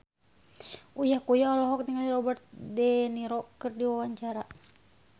Uya Kuya olohok ningali Robert de Niro keur diwawancara